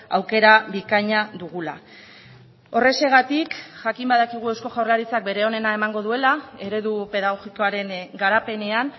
aukera bikaina dugula horrexegatik jakin badakigu eusko jaurlaritzak bere onena emango duela eredu pedagogikoaren garapenean